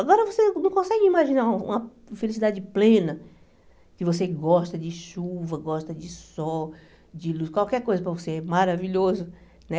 Agora você não consegue imaginar uma felicidade plena, que você gosta de chuva, gosta de sol, de luz, qualquer coisa para você, maravilhoso, né?